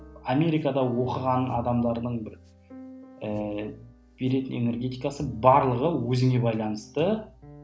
америкада оқыған адамдардың бір ііі беретін энергетикасы барлығы өзіңе байланысты